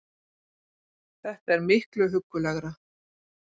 Þetta er miklu huggulegra